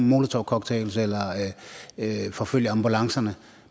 molotowcocktails eller forfølger ambulancerne